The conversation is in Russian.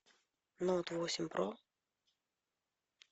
ноут восемь про